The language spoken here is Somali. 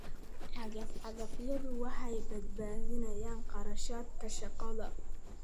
Cagaf-cagafyadu waxay badbaadiyaan kharashka shaqada.